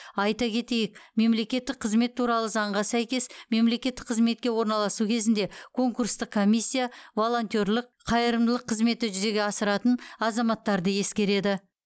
айта кетейік мемлекеттік қызмет туралы заңға сәйкес мемлекеттік қызметке орналасу кезінде конкурстық комиссия волонтерлік қайырымдылық қызметті жүзеге асыратын азаматтарды ескереді